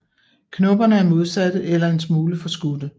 Knopperne er modsatte eller en smule forskudte